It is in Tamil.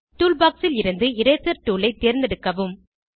டூல்பாக்ஸ் ல் இருந்து இரேசர் டூல் ஐ தேர்ந்தெடுக்கவும்